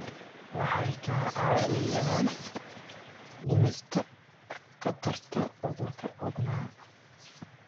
Waxay kaa caawiyaan dhimista khatarta cudurrada wadnaha.